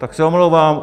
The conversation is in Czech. Tak se omlouvám.